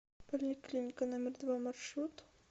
поликлиника номер два маршрут